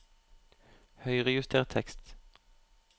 Høyrejuster tekst